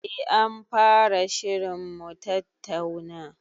Eh anfara shirin mutattauna